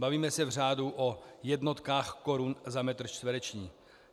Bavíme se v řádu o jednotkách korun za metr čtvereční.